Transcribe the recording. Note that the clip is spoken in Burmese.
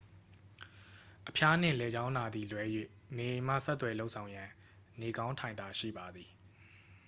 အဖျားနှင့် လည်ချောင်းနာသည်လွဲ၍ နေအိမ်မှ ဆက်သွယ်လုပ်ဆောင်ရန် နေကောင်းထိုင်သာရှိပါသည်